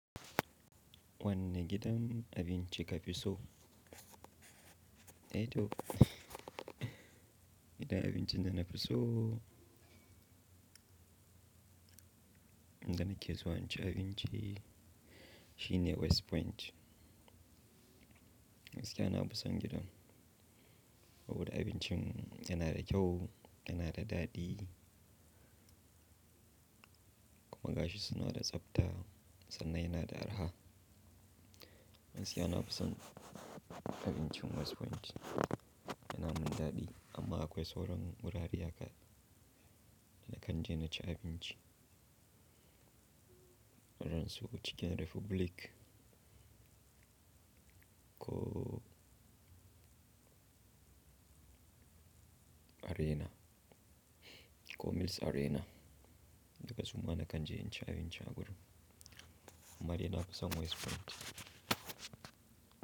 Wanni gidan abinci ka fi so? Eh toh gidan abinci da na fi so, inda na ke zuwa in ci abinci shine West Point. Gaskiya na fi son gidan saboda abincin yana da kyau, yana da daɗi kuma gashi suna da tsabta sannan yana da araha. Gaskiya na fi son abincin West Point yana min daɗi amma akwai sauran wurare haka da na kan je na ci abinci. Irin su Chicken Republic ko Arena, Cornels Arena duka su ma na kan je in ci abinci a wurin amma dai na fi son West Point.